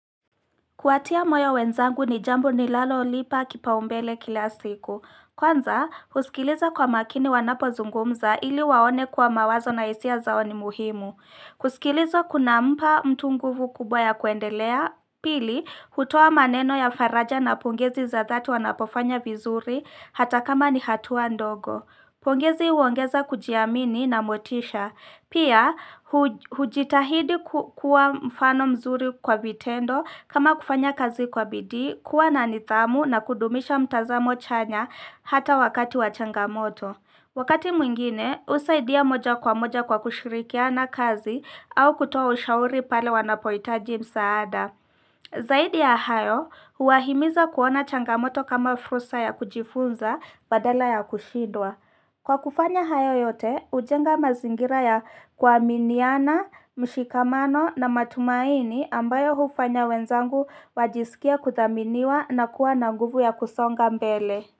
Kuwatia moyo wenzangu ni jambo ninalolipa kipaumbele kila siku. Kwanza, husikiliza kwa makini wanapozungumza ili waone kuwa mawazo na hisia zao ni muhimu. Kusikiliza kunampa mtu nguvu kubwa ya kuendelea. Pili, hutoa maneno ya faraja na pongezi za dhati wanapofanya vizuri hata kama ni hatua ndogo. Pongezi huongeza kujiamini na motisha. Pia, hujitahidi kukuwa mfano mzuri kwa vitendo kama kufanya kazi kwa bidii, kuwa nanidhamu na kudumisha mtazamo chanya hata wakati wa changamoto. Wakati mwingine, husaidia moja kwa moja kwa kushirikiana kazi au kutoa ushauri pale wanapohitaji msaada. Zaidi ya hayo, huwahimiza kuona changamoto kama fursa ya kujifunza badala ya kushidwa. Kwa kufanya hayo yote, hujenga mazingira ya kuaminiana, mshikamano na matumaini ambayo hufanya wenzangu wajisikie kudhaminiwa na kuwa na nguvu ya kusonga mbele.